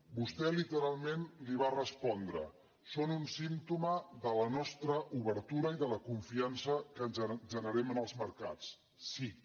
vostè literalment li va respondre són un símptoma de la nostra obertura i de la confiança que generem en els mercats sic